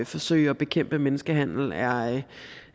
forsøge at bekæmpe menneskehandel er